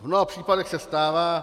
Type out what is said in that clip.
V mnoha případech se stává -